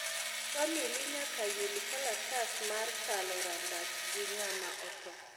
famili nyaka yud kalatas mar kalo rangach gi ngama otho